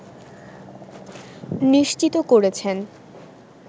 নিশ্চিত করেছেন